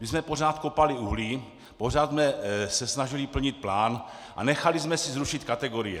My jsme pořád kopali uhlí, pořád jsme se snažili plnit plán a nechali jsme si zrušit kategorie.